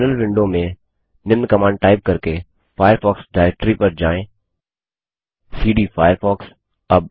terminal window में निम्न command type करके फ़ायरफ़ॉक्स डिरेक्टरी पर जाएँ सीडी फायरफॉक्स